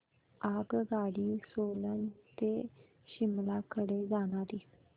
आगगाडी सोलन ते शिमला कडे जाणारी